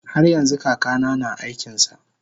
haryanxu kakana na aikinsa